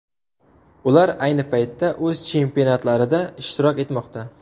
Ular ayni paytda o‘z chempionatlarida ishtirok etmoqda.